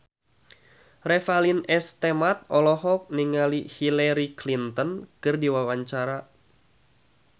Revalina S. Temat olohok ningali Hillary Clinton keur diwawancara